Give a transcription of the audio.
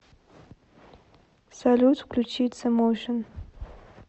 салют включить зе моушн